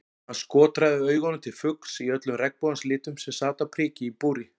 Hann skotraði augunum til fugls í öllum regnbogans litum sem sat á priki í búri.